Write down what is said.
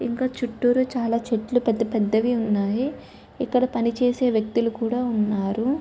ఇంకా చుట్టురూ చాలా చెట్లు పెద్ద పెద్దవి ఉన్నాయి ఇక్కడ పని చేసే వ్యక్తులు కూడా ఉన్నారు.